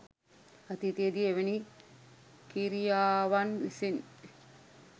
අතීතයේ දී එවැනි කි්‍රයාවන් විසින්